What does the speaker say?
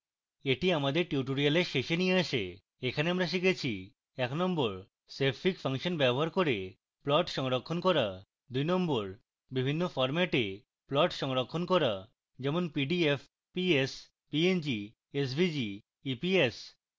এটি আমাদের tutorial শেষে নিয়ে আসে এখানে আমরা শিখেছি